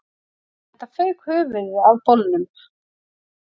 Enda fauk höfuðið af bolnum